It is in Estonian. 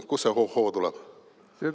" Kust see hohoo tuleb?